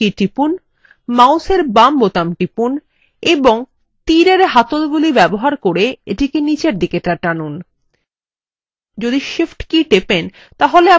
এখন কীবোর্ডের shift key টিপুন মাউসের বাম বোতাম টিপুন এবং তীর এর handle ব্যবহার করে এটি নিচে টানুন